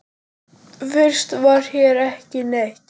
Fyrst var hér ekki neitt.